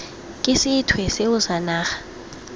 ke sethwe seo sa naga